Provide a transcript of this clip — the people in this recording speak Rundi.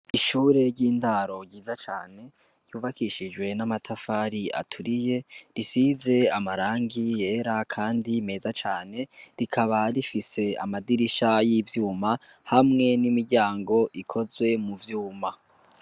Ishure ry’indaro ryiza cane, ryubakishijwe n'amatafari aturiye, risize amarangi yera kandi meza cane, rikaba rifise amadirisha y’ivyuma, hamwe n’imiryango ikozwe mu vyuma.